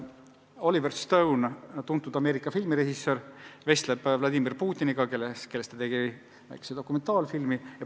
Oliver Stone, tuntud Ameerika filmirežissöör, vestleb Vladimir Putiniga, kellest ta tegi väikse dokumentaalfilmi.